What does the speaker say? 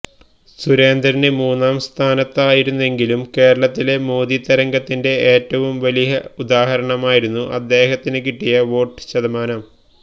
സുരേന്ദ്രന് മൂന്നാം സ്ഥാനത്തായിരുന്നെങ്കിലും കേരളത്തിലെ മോദി തരംഗത്തിന്റെ ഏറ്റവും വലിയ ഉദാഹരണമായിരുന്നു അദ്ദേഹത്തിന് കിട്ടിയ വോട്ട് ശതമാനം